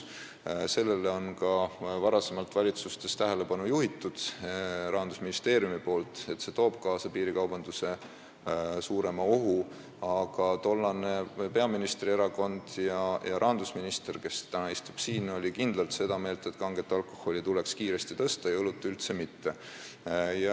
Rahandusministeerium on ka varem valitsustes tähelepanu juhtinud sellele, et see toob kaasa suurema piirikaubanduse ohu, aga tollane peaministrierakond ja rahandusminister, kes täna siin istub, olid kindlalt seda meelt, et kange alkoholi aktsiisi tuleks kiiresti tõsta ja õlleaktsiisi üldse mitte.